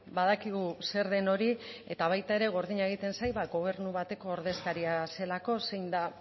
badakigu zer den hori eta baita ere gordina egiten zait gobernu batek ordezkaria zelako zein da